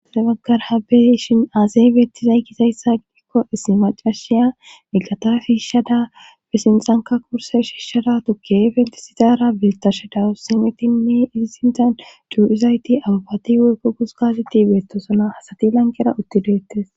asdebaggar habeishin aasay bettizay kizayssa gidikko isimaca shiya miggata fiishadafesinsanka kurse shiishshada tukke bentisidara bitashedawu simetinne izi sindan du7izayti abbati wuykko gus gazetti beettosono hasati lanqera uttideettes